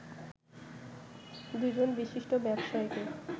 ২ জন বিশিষ্ট ব্যবসায়ীকে